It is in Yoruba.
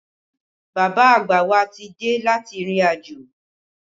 Bàbá àgbà wa ti dé láti ìrìnàjò